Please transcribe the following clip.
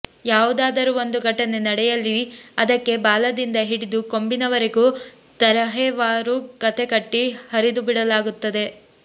ಯಾವುದಾದರೂ ಒಂದು ಘಟನೆ ನಡೆಯಲಿ ಅದಕ್ಕೆ ಬಾಲದಿಂದ ಹಿಡಿದು ಕೊಂಬಿನವರೆಗೂ ತರಹೇವಾರು ಕಥೆ ಕಟ್ಟಿ ಹರಿಬಿಡಲಾಗುತ್ತಿರುತ್ತದೆ